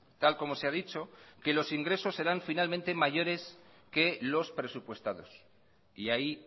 tal como se ha dicho que los ingresos serán finalmente mayores que los presupuestados y ahí